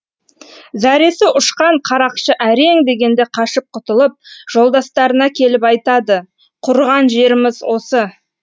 зәресі ұшқан қарақшы әрең дегенде қашып құтылып жолдастарына келіп айтады құрыған жеріміз осы